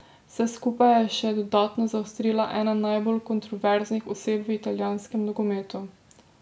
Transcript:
Vse skupaj je še dodatno zaostrila ena najbolj kontroverznih oseb v italijanskem nogometu.